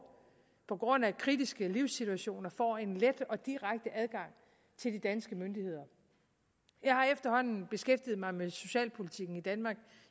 på grund af kritiske livssituationer får en let og direkte adgang til de danske myndigheder jeg har efterhånden beskæftiget mig med socialpolitikken i danmark